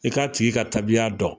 I k'a tigi ka tabiya dɔn